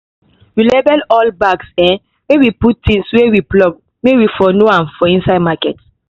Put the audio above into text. We label all bags um wey we put tings wey we plug wey we for know am for inside market